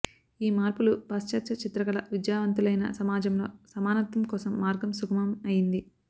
ఈ మార్పులు పాశ్చాత్య చిత్రకళ విద్యావంతులైన సమాజంలో సమానత్వం కోసం మార్గం సుగమం అయ్యింది